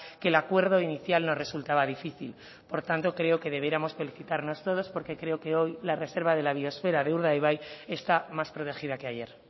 que el acuerdo inicial no resultaba difícil por tanto creo que debiéramos felicitarnos todos porque creo que hoy la reserva de la biosfera de urdaibai está más protegida que ayer